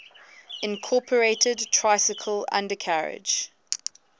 incorporated tricycle undercarriage